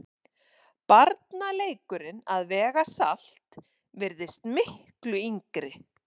Barnaleikurinn að vega salt virðist miklu yngri.